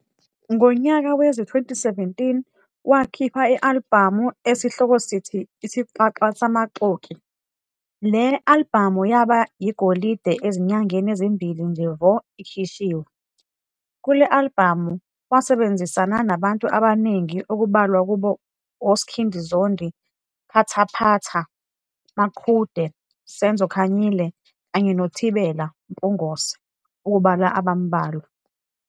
Ngonyaka wezi-2017 wakhipha i-alibhamu esihloko sithi Isixaxa Samaxoki, le-alibhamu yaba yigolide ezinyangeni ezimbili nje vo ikhishiwe. Kule-alibhamu wasebenzisana nabantu abaningi okubalwa kubo oSkhindi Zondi, Phathaphatha, Maqhude, Senzo Kanyile kanye noThibela Mpungose ukubala abambalwa.